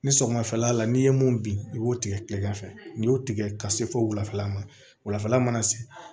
Ni sɔgɔmafɛla la n'i ye mun bin i b'o tigɛ kilegan fɛ n'i y'o tigɛ ka se fo wulafɛla ma wulafɛla mana se